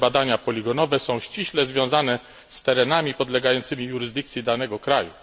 Tutaj badania poligonowe są ściśle związane z terenami podlegającymi jurysdykcji danego kraju.